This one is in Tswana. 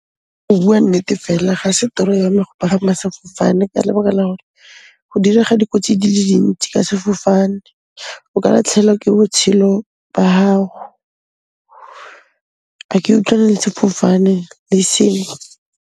Go bua nnete fela, ga se toro ya me go pagama sefofane ka lebaka la gore go direga dikotsi di le dintsi ka sefofane. O ka latlhelwa ke botshelo ba hao, a ke utlwane le sefofane le e seng.